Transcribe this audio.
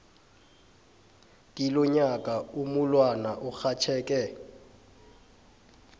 kilonyaka umulwana urhatjheke